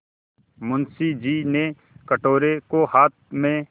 मुंशी जी ने कटोरे को हाथ में